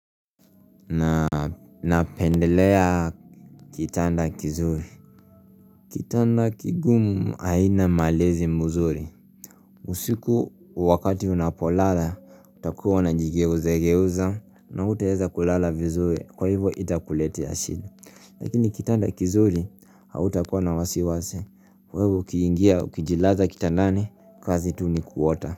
Napendelea kitanda kizuri. Kitanda kigumu haina malezi mzuri. Usiku wakati unapolala utakuwa na unajigeuza geuza na hutaweza kulala vizuri kwa hivyo itakuletea shida. Lakini kitanda kizuri hautakuwa na wasiwasi kwa hivyo ukiingia ukijilaza kitandani kazi tu ni kuota.